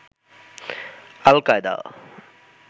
al-Qaeda